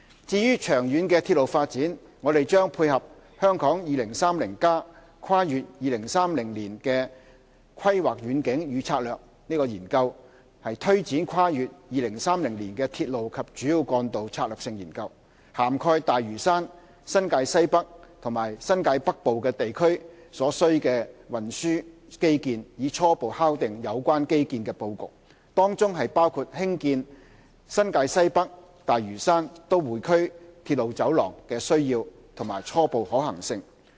至於長遠的鐵路發展，我們將配合《香港 2030+： 跨越2030年的規劃遠景與策略》研究，推展跨越2030年的鐵路及主要幹道策略性研究，涵蓋大嶼山、新界西北和新界北部等地區所需的運輸基建，以初步敲定有關基建的布局，當中包括興建新界西北─大嶼山─都會區鐵路走廊的需要及初步可行性。